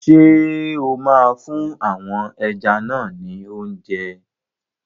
Ṣé o máa fún àwọn ẹja náà ni óúnjẹ?